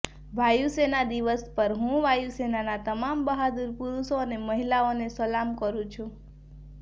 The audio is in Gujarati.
વાયુસેના દિવસ પર હું વાયુસેનાના તમામ બહાદુર પુરુષો અને મહિલાઓને સલામ કરું છું